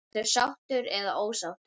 Ertu sáttur eða ósáttur?